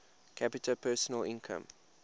capita personal income